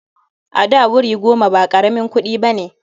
A da, wuri goma ba ƙaramin kuɗi ba ne.